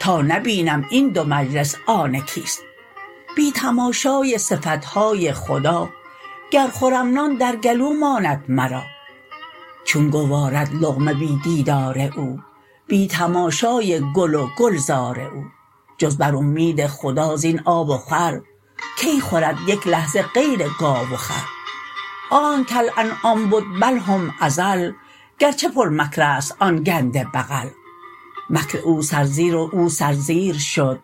تا نبینم این دو مجلس آن کیست بی تماشای صفتهای خدا گر خورم نان در گلو ماند مرا چون گوارد لقمه بی دیدار او بی تماشای گل و گلزار او جز بر اومید خدا زین آب و خور کی خورد یک لحظه غیر گاو و خر آنک کالانعام بد بل هم اضل گرچه پر مکرست آن گنده بغل مکر او سرزیر و او سرزیر شد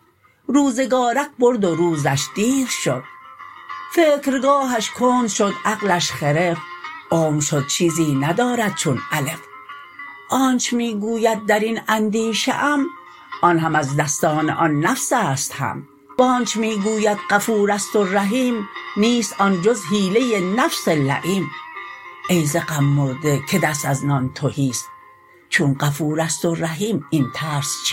روزگارک برد و روزش دیر شد فکرگاهش کند شد عقلش خرف عمر شد چیزی ندارد چون الف آنچ می گوید درین اندیشه ام آن هم از دستان آن نفسست هم وآنچ می گوید غفورست و رحیم نیست آن جز حیله نفس لییم ای ز غم مرده که دست از نان تهیست چون غفورست و رحیم این ترس چیست